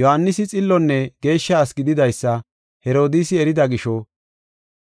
Yohaanisi xillonne geeshsha asi gididaysa Herodiisi erida gisho,